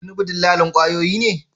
Tinubu dillalin kwayoyi ne?